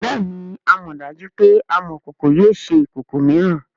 bẹẹni amọdaju pe amokoko yio ṣe ikoko miiran.